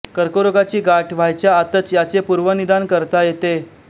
कर्करोगाची गाठ व्हायच्या आतच याचे पूर्वनिदान करता येते